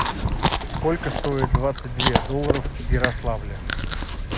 сколько стоит двадцать две долларов в ярославле